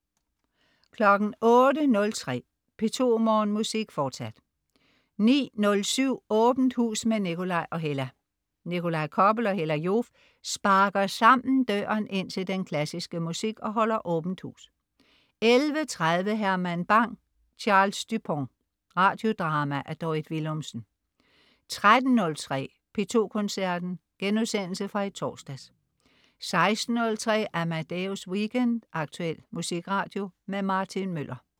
08.03 P2 Morgenmusik, fortsat 09.07 Åbent hus med Nikolaj og Hella. Nikolaj Koppel og Hella Joof sparker sammen døren ind til den klassiske musik og holder Åbent hus 11.30 Herman Bang: Charles Dupont. Radiodrama af Dorrit Willumsen 13.03 P2 Koncerten.* Genudsendelse fra i torsdags 16.03 Amadeus Weekend. Aktuel musikradio. Martin Møller